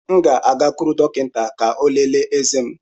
M ga-agakwuru dọkịta eze ka ọ lelee eze m.